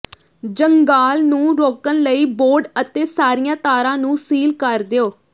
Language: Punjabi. ਜੰਗਾਲ ਨੂੰ ਰੋਕਣ ਲਈ ਬੌਂਡ ਅਤੇ ਸਾਰੀਆਂ ਤਾਰਾਂ ਨੂੰ ਸੀਲ ਕਰ ਦਿਓ